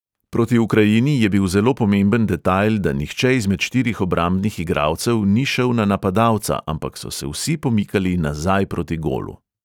Proti ukrajini je bil zelo pomemben detajl, da nihče izmed štirih obrambnih igralcev ni šel na napadalca, ampak so se vsi pomikali nazaj proti golu.